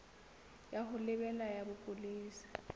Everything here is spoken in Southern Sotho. ya ho lebela ya bopolesa